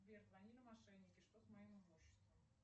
сбер звонили мошенники что с моим имуществом